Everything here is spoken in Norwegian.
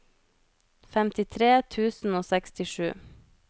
femtitre tusen og sekstisju